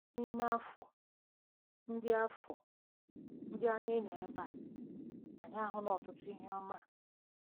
N'ime afọ ndị afọ ndị anyị nọ ebe a, anyị ahụla ọtụtụ ihe ọma.